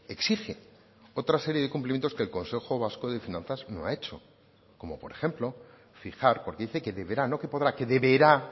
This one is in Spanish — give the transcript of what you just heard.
exige otra serie de cumplimientos que el consejo vasco de finanzas no ha hecho como por ejemplo fijar porque dice que deberá no que podrá que deberá